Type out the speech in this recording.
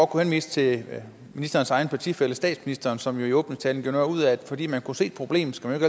kunne henvise til ministerens egen partifælle statsministeren som jo i åbningstalen gjorde noget ud af at at fordi man kan se et problem skal man